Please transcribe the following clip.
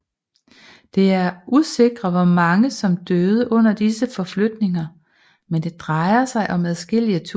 Det er usikre hvor mange som døde under disse forflytninger men det drejer sig om adskillige tusinde